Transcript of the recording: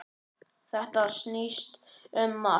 Þetta snýst um margt.